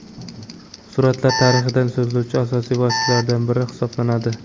Suratlar tarixdan so‘zlovchi asosiy vositalardan biri hisoblanadi.